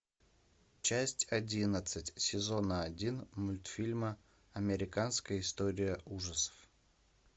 часть одиннадцать сезона один мультфильма американская история ужасов